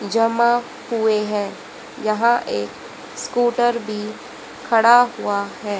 जमा हुए हैं यहां एक स्कूटर भी खड़ा हुआ है।